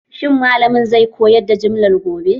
Shin malamin zai koyar da jumla gobe?